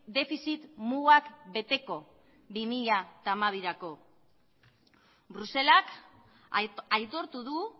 defizit mugak beteko bi mila hamabirako bruselak aitortu du